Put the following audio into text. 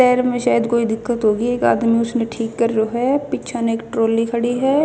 पैर म शायद कोई दिक्कत होगी एक आदमी उसनह ठीक कर रयो ह पीछे न एक ट्रोली खड़ी ह.